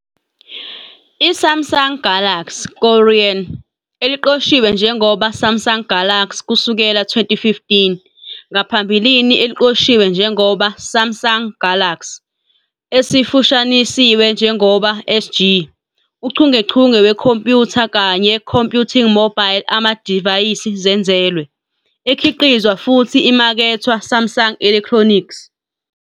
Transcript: I-Samsung Galaxy, Korean, Eliqoshiwe njengoba SΛMSUNG Galaxy kusukela 2015, ngaphambilini eliqoshiwe njengoba Samsung GALAXY, esifushanisiwe njengoba SG, uchungechunge wekhompyutha kanye Computing mobile amadivayisi zenzelwe, ekhiqizwa futhi imakethwa Samsung Electronics.